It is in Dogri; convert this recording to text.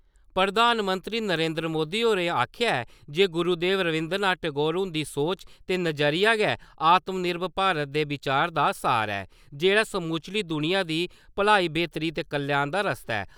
प्रधानमंत्री नरेन्द्र मोदी होरें आखेआ ऐ जे गुरुदेव रवीन्द्र नाथ टैगोर हुंदी सोच ते नजरिया गै आत्म निर्भर भारत दे विचार दा सार ऐ, जेह्ड़ा समूलची दुनिया दी भलाई-बेह्तरी ते कल्याण दा रस्ता ऐ।